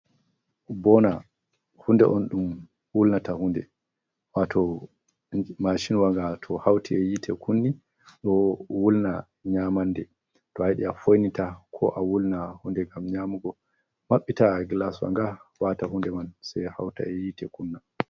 Boona, hunde on ɗum wulnata hunde, wato mashin wa nga to hauta e yite kunni ɗo wulna nyamande, to ayiɗi a foinita ko a wulna hunde gam nyamugo, mabbita gilaswa nga wata hunde man sai hauta e yite kunna.